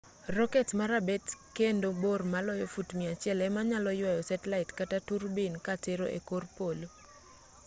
roket ma rabet kendo bor maloyo fut 100 ema nyalo yuayo setlait kata turbin ka tero e kor polo